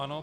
Ano.